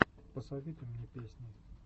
посоветуй мне песни